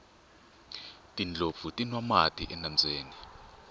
tindlopfu ti nwa mati enambyeni